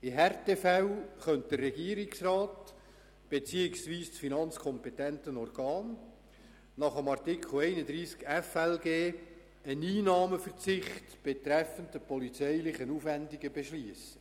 In Härtefällen könnten der Regierungsrat beziehungsweise das finanzkompetente Organ nach dem Artikel 31 des Gesetzes über die Steuerung von Finanzen und Leistungen (FLG) einen Einnahmeverzicht betreffend die polizeilichen Aufwendungen beschliessen.